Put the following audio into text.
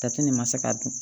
Tati nin ma se k'a dun